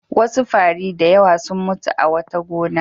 Wasu fari da yawa sun mutu a wata gona.